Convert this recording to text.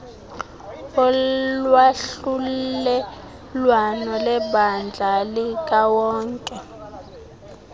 wolwahlulelwano lebandla likawonke